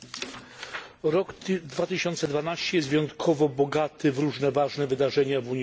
Rok 2012 jest wyjątkowo bogaty w różne ważne wydarzenia w Unii Europejskiej.